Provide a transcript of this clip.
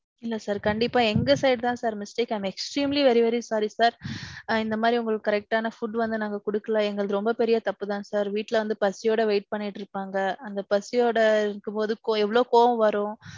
இல்ல sir கண்டிப்பா எங்க side தான் sir mistake. I am extremely very very sorry sir. இந்த மாதிரி உங்களுக்கு correct ஆன food வந்து நாங்க கொடுக்கல. எங்களுது ரொம்ப பெரிய தப்புதான் sir. வீட்ல வந்து பசியோட wait பன்னிட்டு இருப்பாங்க, அந்த பசியோட இருக்கும்போது ~ எவ்வளவு கோவம் வரும்.